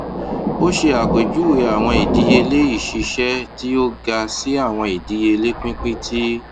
o ṣe apejuwe awọn idiyele iṣiṣẹ ti o ga si awọn idiyele pinpin ti